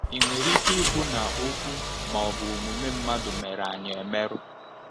Ị̀ nwere ike ịbụ na okwu ma ọ bụ omume mmadụ mere anyị mmerụ?